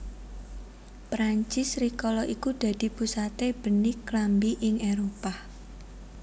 Prancis rikala iku dadi pusate benik klambi ing Éropah